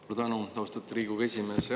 Suur tänu, austatud Riigikogu esimees!